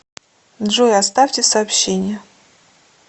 джой оставьте сообщение